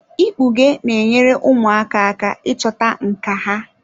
Ikpughe na-enyere ụmụaka aka ịchọta nkà ha.